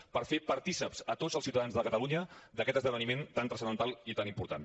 per fer partícips tots els ciutadans de catalunya d’aquest esdeveniment tan transcendental i tan important